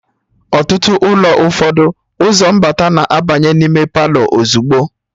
Na ulo ụfọdụ, ụzọ mbata na-abanye n'ime Palọ ozugbo